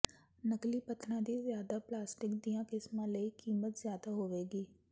ਨਕਲੀ ਪੱਥਰਾਂ ਦੀ ਜ਼ਿਆਦਾ ਪਲਾਸਟਿਕ ਦੀਆਂ ਕਿਸਮਾਂ ਲਈ ਕੀਮਤ ਜ਼ਿਆਦਾ ਹੋਵੇਗੀ